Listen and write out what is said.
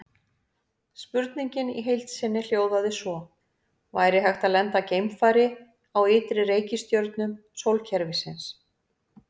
Spurningin í heild sinni hljóðaði svo: Væri hægt að lenda geimfari á ytri reikistjörnum sólkerfisins?